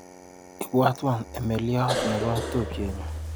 Ibwatwa emeliot nebo tupchenyu.